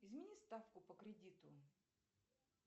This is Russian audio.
измени ставку по кредиту